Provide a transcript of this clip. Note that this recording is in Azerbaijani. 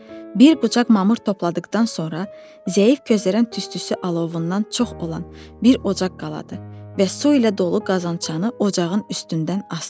Bir qucaq mamır topladıqdan sonra zəif közərən tüstüsü alovundan çox olan bir ocaq qaladı və su ilə dolu qazançanı ocağın üstündən asdı.